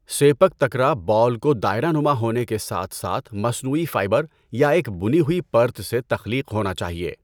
Sepak تکرا ball کو دائرہ نما ہونے کے ساتھ ساتھ مصنوعی فائبر یا ایک بنی ہوئی پرت سے تخلیق ہونا چاہئے۔